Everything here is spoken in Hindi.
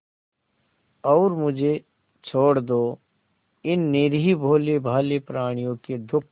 और मुझे छोड़ दो इन निरीह भोलेभाले प्रणियों के दुख